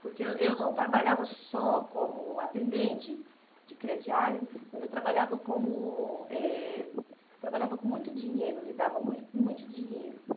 Porque eu eu não trabalhava só como atendente de crediário, mas eu trabalhava como eh eu trabalhava com muito dinheiro, lidava muito com muito dinheiro.